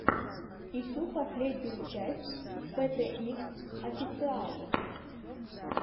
ищи последнюю часть пэ тэ икс официал